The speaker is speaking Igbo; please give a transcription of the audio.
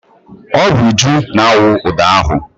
Ọ bụ Uju na-awụ ụdọ ahụ.